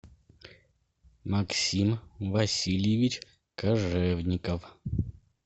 максим васильевич кожевников